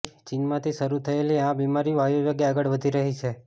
ચીનમાંથી શરૂ થયેલી આ બીમારી વાયુવેગે આગળ વધી રહી છે